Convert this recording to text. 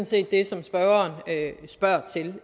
set det som spørgeren spørger til